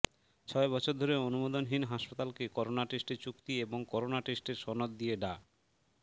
ছয় বছর ধরে অনুমোদনহীন হাসপাতালকে করোনা টেস্টের চুক্তি এবং করোনা টেস্টের সনদ দিয়ে ডা